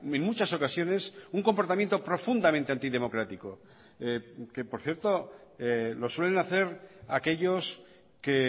en muchas ocasiones un comportamiento profundamente antidemocrático que por cierto lo suelen hacer aquellos que